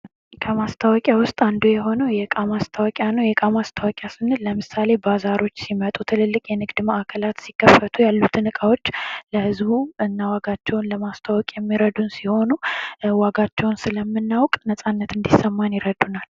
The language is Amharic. ከማስታወቂያ ውስጥ አንዱ የሆነው የዕቃ ማስታወቂያ ነው። የዕቃ ማስታወቂያ ስንል ለምሳሌ ባዛሮች ሲመጡ ትልልቅ የንግድ ማዕከላት ሲከፈቱ ያሉትን እቃዎች ለህዝቡ እና ዋጋቸውን ለማስተዋወቅ የሚረዱን ሲሆኑ ዋጋቸውን ስለምናውቅ ነጻነት እንድሰማን ይረዱናል።